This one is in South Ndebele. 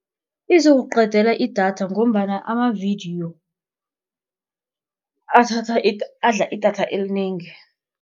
Izokuqedela idatha ngombana amavidiyo athatha adla idatha elinengi.